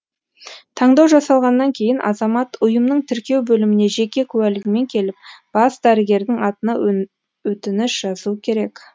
таңдау жасалғаннан кейін азамат ұйымның тіркеу бөліміне жеке куәлігімен келіп бас дәрігердің атына өтініш жазуы қерек